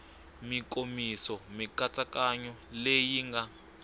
mikomiso mikatsakanyo leyi yi nga